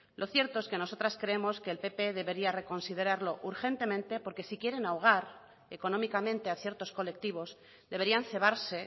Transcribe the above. lo cierto es que nosotras creemos que el pp debería reconsiderarlo urgentemente porque si quieren ahogar económicamente a ciertos colectivos deberían cebarse